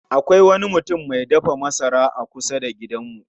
Akwai wani mutum mai dafa masara a kusa da gidanmu